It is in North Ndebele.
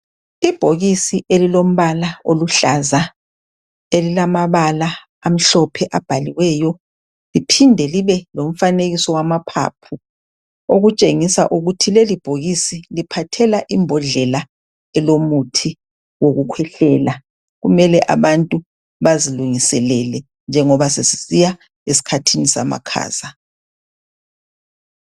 Ibhokisi elilombala oluhlaza elilamabala amhlophe abhaliweyo liphinde libe lomfanekiso wamaphaphu okutshengisa ukuthi lelibhokisi liphathela imbodlela elomuthi wokukhwehlela. Kumele abantu bazilungiselele njengoba sesisiya esikhathini samakhaza.